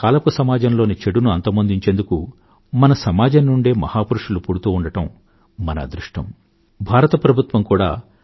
రామానుజాచార్య వెయ్యవ జయంతిని ప్రస్తుతం మనం జరుపుకొంటున్నాం మనం సామాజిక ఏకత్వం వర్ధిల్ల జేసేందుకు పడుతున్న ప్రయాసలో ఆయన నుండి ప్రేరణను పొంది ఐకమత్యమే బలం అన్న లోకోక్తికి మద్దతిద్దాం